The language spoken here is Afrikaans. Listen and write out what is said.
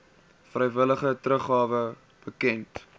vrywillige teruggawe bekend